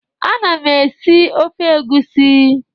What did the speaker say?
Ana m esi ofe egusi.